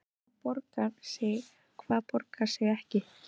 Hvað borgar sig og hvað borgar sig ekki?